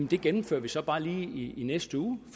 det gennemfører vi så bare lige i næste uge